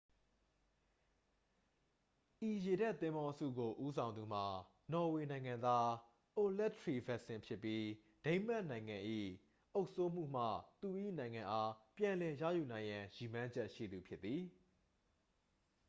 ဤရေတပ်သင်္ဘောအစုကိုဦးဆောင်သူမှာ နော်ဝေနိုင်ငံသား အိုလက် ထရီဗက်ဆင် ဖြစ်ပြီး ဒိန်းမတ်နိုင်ငံ၏ အုပ်စိုးမှုမှ သူ၏နိုင်ငံအား ပြန်လည်ရယူနိုင်ရန် ရည်မှန်းချက်ရှိသူဖြစ်သည်